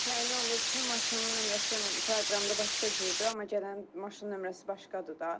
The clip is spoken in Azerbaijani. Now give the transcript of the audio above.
Məsələn elə olur ki, maşının nömrəsi proqramda başqa cürdür, amma gələn maşının nömrəsi başqadır da.